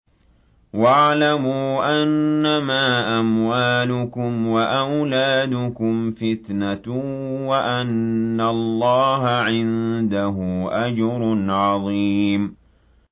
وَاعْلَمُوا أَنَّمَا أَمْوَالُكُمْ وَأَوْلَادُكُمْ فِتْنَةٌ وَأَنَّ اللَّهَ عِندَهُ أَجْرٌ عَظِيمٌ